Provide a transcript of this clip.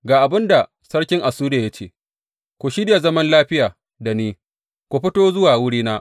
Ga abin da sarkin Assuriya ya ce, ku shirya zaman lafiya da ni, ku fito zuwa wurina.